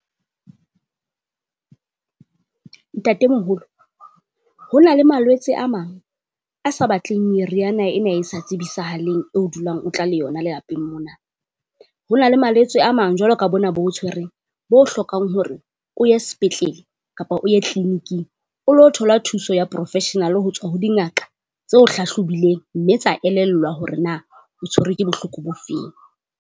Ntatemoholo ho na le malwetse a mang a sa batleng meriana ena e sa tsibisahaleng eo dulang o tla le yona lelapeng mona. Ho na le malwetse a mang jwalo ka bona bo ho tshwereng, bo hlokang hore o ye sepetlele kapa o ye clinic-ing o lo thola thuso ya Professional ho tswa ho dingaka tseo hlahlobileng. Mme tsa elellwa hore na o tshwerwe ke bohloko bo feng.